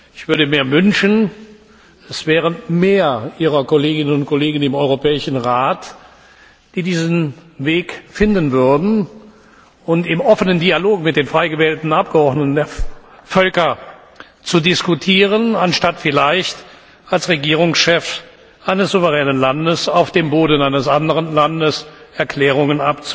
Ich würde mir wünschen, es wären mehr Ihrer Kolleginnen und Kollegen im Europäischen Rat, die diesen Weg finden würden, um im offenen Dialog mit den frei gewählten Abgeordneten der Völker zu diskutieren, anstatt vielleicht als Regierungschef eines souveränen Landes auf dem Boden eines anderen Landes Erklärungen